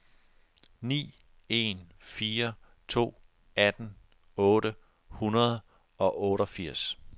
ni en fire to atten otte hundrede og otteogfirs